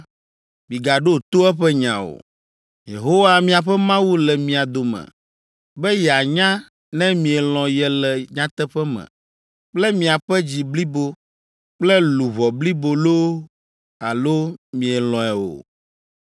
migaɖo to eƒe nya o. Yehowa miaƒe Mawu le mia dome be yeanya ne mielɔ̃ ye le nyateƒe me kple miaƒe dzi blibo kple luʋɔ blibo loo alo mielɔ̃e o.